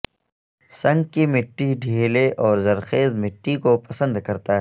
sink کی مٹی ڈھیلے اور زرخیز مٹی کو پسند کرتا ہے